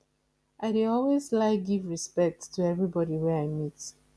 i dey always like give respect to everybody wey i meet